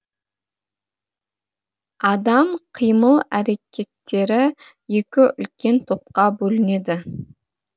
адам қимыл әрекеттері екі үлкен топқа бөлінеді